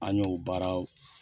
An y'o baaraw